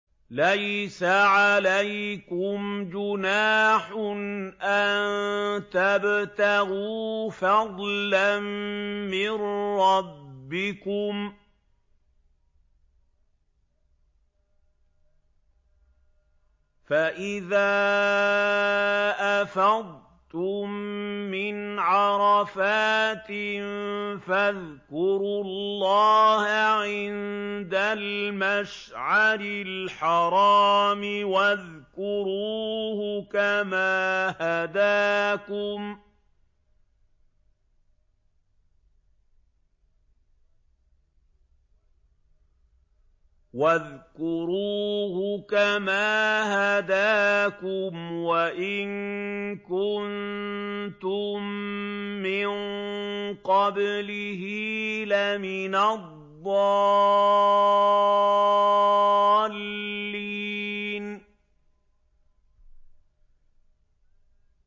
لَيْسَ عَلَيْكُمْ جُنَاحٌ أَن تَبْتَغُوا فَضْلًا مِّن رَّبِّكُمْ ۚ فَإِذَا أَفَضْتُم مِّنْ عَرَفَاتٍ فَاذْكُرُوا اللَّهَ عِندَ الْمَشْعَرِ الْحَرَامِ ۖ وَاذْكُرُوهُ كَمَا هَدَاكُمْ وَإِن كُنتُم مِّن قَبْلِهِ لَمِنَ الضَّالِّينَ